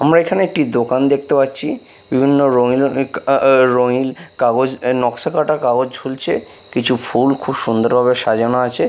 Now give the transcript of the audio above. আমরা এখানে একটি দোকান দেখতে পাচ্ছি বিভিন্ন রঙিন রঙিন কাগজ নকশা কাটা কাগজ ঝুলছে কিছু ফুল খুব সুন্দর ভাবে সাজানো আছে ।